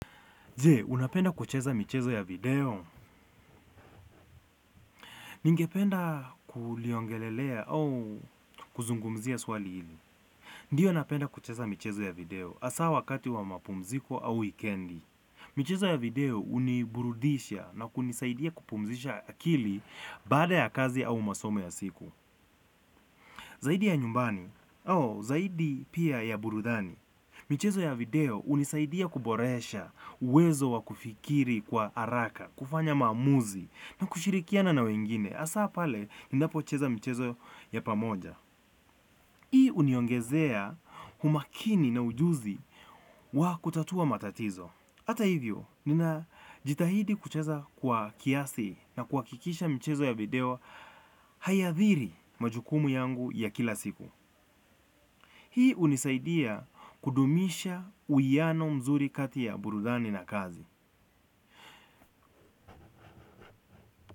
Jee, unapenda kucheza michezo ya video? Ningependa kuliongelelea au kuzungumzia swali hili. Ndiyo napenda kucheza michezo ya video asaa wakati wa mapumziko au wikendi. Michezo ya video uniburudisha na kunisaidia kupumzisha akili baada ya kazi au masomo ya siku. Zaidi ya nyumbani au, zaidi pia ya burudani. Michezo ya video unisaidia kuboresha, uwezo wa kufikiri kwa haraka, kufanya maamuzi, na kushirikiana na wengine, asaa pale ninapocheza mchezo ya pamoja. Hii uniongezea umakini na ujuzi wa kutatua matatizo. Hata hivyo, nina jitahidi kucheza kwa kiasi na kuhakikisha mchezo ya video haiathiri majukumu yangu ya kila siku. Hii unisaidia kudumisha uiano mzuri kati ya burudani na kazi.